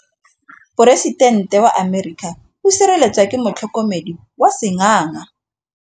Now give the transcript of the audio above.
Poresitêntê wa Amerika o sireletswa ke motlhokomedi wa sengaga.